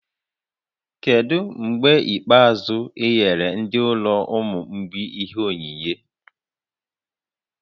Kedu mgbe ikpeazụ ị nyere ndị ụlọ ụmụ mgbei ihe onyinyé?